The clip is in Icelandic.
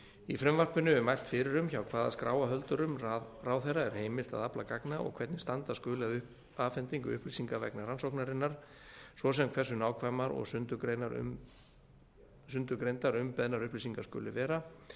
í frumvarpinu er mælt fyrir um hjá hvaða skráarhöldurum ráðherra er heimilt að afla gagna og hvernig standa skuli að afhendingu upplýsinga vegna rannsóknarinnar svo sem hversu nákvæma og sundurgreindar umbeðnar upplýsingar skuli vera